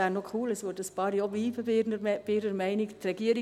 Es wäre noch «cool», wenn einige bei ihrer Meinung blieben.